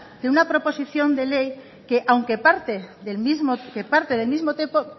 de una proposición de ley que aunque parte del mismo